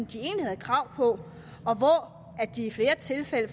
de egentlig havde krav på og i flere tilfælde